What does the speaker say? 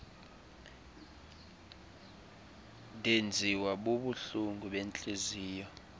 ndenziwa bubuhlungu bentliziyo